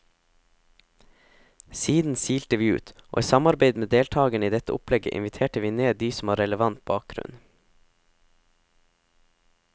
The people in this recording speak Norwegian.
Siden silte vi ut, og i samarbeid med deltagerne i dette opplegget inviterte vi ned de som har relevant bakgrunn.